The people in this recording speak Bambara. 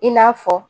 I n'a fɔ